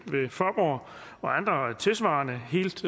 og andre tilsvarende helt